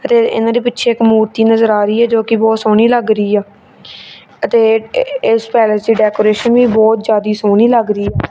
ਤੇ ਇਹਨਾਂ ਦੇ ਪਿੱਛੇ ਇੱਕ ਮੂਰਤੀ ਨਜ਼ਰ ਆ ਰਹੀ ਹੈ ਜੋ ਕਿ ਬਹੁਤ ਸੋਹਣੀ ਲੱਗ ਰਹੀ ਆ ਅਤੇ ਇਸ ਪੈਲਸ ਦੀ ਡੈਕੋਰੇਸ਼ਨ ਵੀ ਬਹੁਤ ਜਿਆਦੀ ਸੋਹਣੀ ਲੱਗ ਰਹੀ।